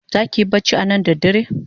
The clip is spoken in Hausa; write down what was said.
Zaki yi bacci anan ne da dare?